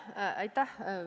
Aitäh!